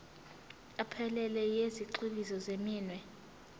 ephelele yezigxivizo zeminwe